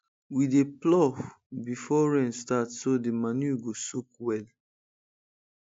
we dey plough before rain start so the manure go soak well